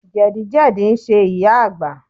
Jẹ̀dí jẹ̀dí ń ṣe ìyá Àgbà